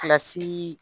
Kilasii